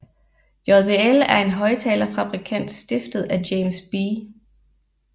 JBL er en højttalerfabrikant stiftet af James B